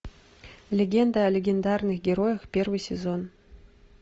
легенда о легендарных героях первый сезон